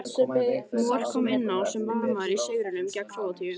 Mor kom inn á sem varamaður í sigrinum gegn Króatíu.